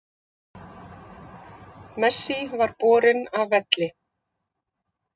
Messi var borinn af velli